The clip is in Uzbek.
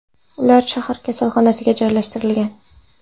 Ular shahar kasalxonasiga joylashtirilgan.